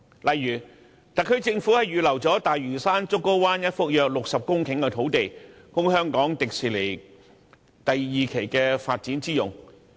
例如特區政府預留了大嶼山竹篙灣一幅約60公頃的土地，供香港迪士尼樂園第二期發展之用。